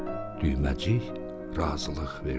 Düyməcik razılıq verdi.